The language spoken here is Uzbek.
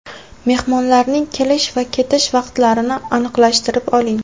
Mehmonlarning kelish va ketish vaqtlarini aniqlashtirib oling!